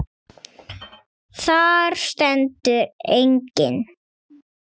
Þar stendur einnig